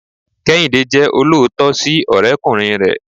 kehinde jẹ oloootọ si ọrẹkunrin rẹ